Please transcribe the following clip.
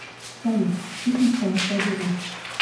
салют фитнес таймстади ру